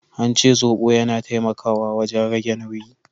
An ce zobo yana taimakawa wajen rage nauyi.